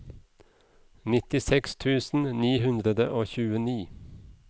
nittiseks tusen ni hundre og tjueni